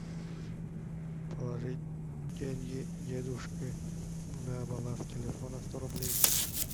положить деньги дедушке на баланс телефона сто рублей